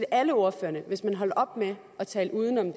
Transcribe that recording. alle ordførerne hvis man holdt op med at tale uden om